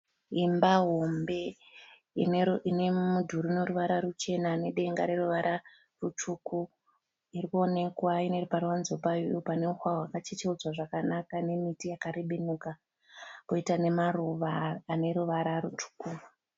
Imba hombe inemudhuri unoruvara ruchena nedenga reruvara rutsvuku irikuonekwa. Ine paruvanze payo paneuswa hwakachecheudzwa zvakanaka nemiti yakarebenuka. Poita nemaruva aneruvara rutsvuku.